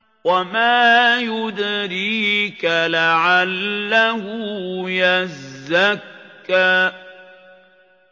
وَمَا يُدْرِيكَ لَعَلَّهُ يَزَّكَّىٰ